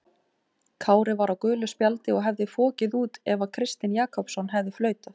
Kári var á gulu spjaldi og hefði fokið út af ef Kristinn Jakobsson hefði flautað.